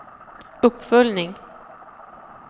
uppföljning